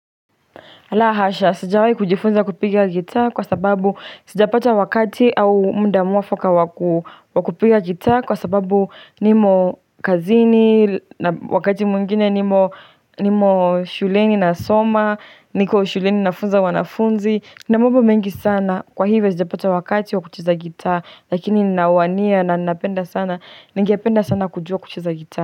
La hasha, sijawahi kujifunza kupiga gitaa kwa sababu sijapata wakati au muda mwafaka wakupiga gitaa kwa sababu niko kazini, wakati mwingine niko shuleni nasoma, niko shuleni nafunza wanafunzi. Kwa hivyo sijapata wakati wa kucheza gitaa lakini nawania na ningependa sana kujua kucheza gitaa.